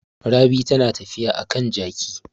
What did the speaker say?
Rabi tana tafiya a kan jaki.